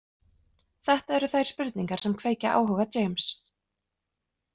Þetta eru þær spurningar sem kveikja áhuga James.